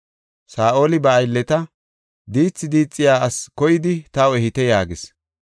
Saa7oli ba aylleta, “Diithi diixiya asi koyidi taw ehite” yaagis.